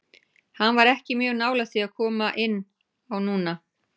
Hann var ekki mjög nálægt því að koma inn á núna.